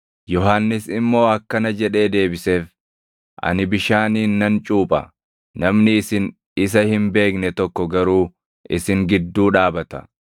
Yohannis immoo akkana jedhee deebiseef; “Ani bishaaniin nan cuupha; namni isin isa hin beekne tokko garuu isin gidduu dhaabata.